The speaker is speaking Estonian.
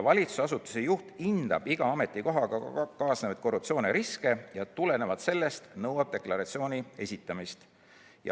Valitsusasutuse juht hindab iga ametikohaga kaasnevaid korruptsiooniriske ja tulenevalt võib nõuda deklaratsiooni esitamist.